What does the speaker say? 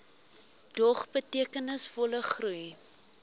dog betekenisvolle groei